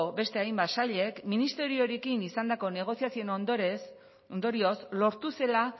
beste hainbat sailek ministerioarekin izandako negozioen ondorioz lortu zela